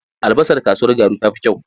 Albasar kasuwar Garu ta fi kyau.